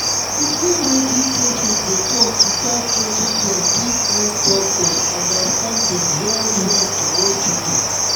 to hear wetin patients dey talk without judging dem fit help doctors understand dem well-well for hospital.